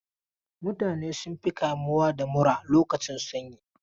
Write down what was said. Mutane sun fi kamuwa da mura lokacin sanyi.